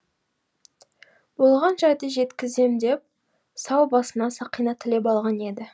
болған жайды жеткізем деп сау басына сақина тілеп алған еді